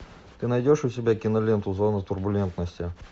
ты найдешь у себя киноленту зона турбулентности